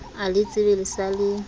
a letsebe le sa le